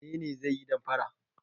Wane ne zai yi damfara?